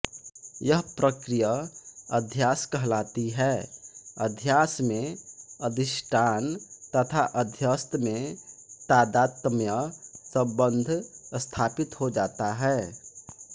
यह प्रक्रिय अध्यास कहलाती है अध्यासमेंअधिष्टान तथा अध्यस्त में तादात्म्य सबंध स्थापित हो जाता है